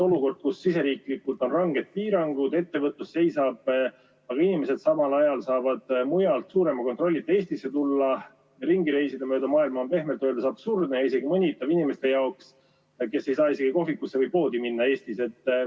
Olukord, kus siseriiklikult on ranged piirangud, ettevõtlus seisab, aga inimesed samal ajal saavad mujalt ilma suurema kontrollita Eestisse tulla, ringi reisida mööda maailma, on pehmelt öeldes absurdne ja isegi mõnitav inimeste jaoks, kes ei saa isegi kohvikusse või poodi minna Eestis.